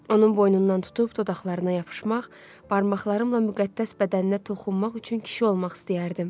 Onun boynundan tutub dodaqlarına yapışmaq, barmaqlarımla müqəddəs bədəninə toxunmaq üçün kişi olmaq istəyərdim.